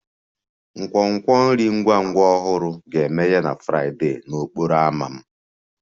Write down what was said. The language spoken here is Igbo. Nkwonkwo nri ngwa ngwa ọhụrụ ga-emeghe na Fraịdee n'okporo ámá m